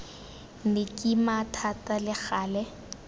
nne kima thata le gale